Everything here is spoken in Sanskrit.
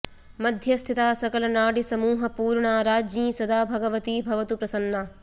मध्यस्थिता सकलनाडिसमूह पूर्णा राज्ञी सदा भगवती भवतु प्रसन्ना